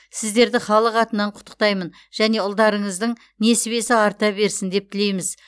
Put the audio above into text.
сіздерді халық атынан құттықтаймын және ұлдарыңыздың несібесі арта берсін деп тілейміз